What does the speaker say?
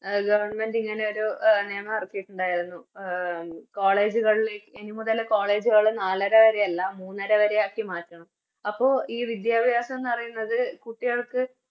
A Government ഇങ്ങനെയൊരു എ നിയമം ഇറക്കിട്ടുണ്ടായിരുന്നു College കളില് ഇനി മുതൽ College കള് നാലരവരെയല്ല മൂന്നരവരെയാക്കി മാറ്റണം അപ്പൊ ഈ വിദ്യാഭ്യാസന്ന് പറയുന്നത് കുട്ടികൾക്ക്